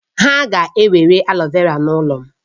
Ha ga-ewere aloe vera n'ụlọ m